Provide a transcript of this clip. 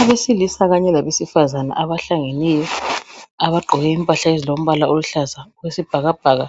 Abesilisa kanye labesifazane abahlangeneyo abagqoke impahla ezilombala oluhlaza okwesibhakabhaka